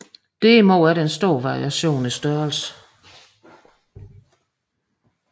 Derimod er der stor variation i størrelse